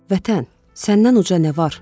Vətən, səndən uca nə var?